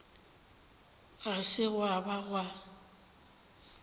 ga se gwa ka gwa